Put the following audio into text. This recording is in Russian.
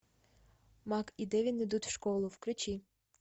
мак и девин идут в школу включи